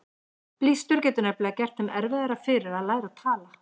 Blístur getur nefnilega gert þeim erfiðara fyrir að læra að tala.